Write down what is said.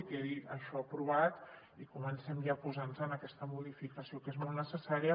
que quedi això aprovat i comencem ja a posar nos en aquesta modificació que és molt necessària